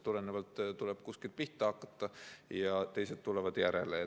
Aga tuleb kuskilt pihta hakata, küll teised tulevad järele.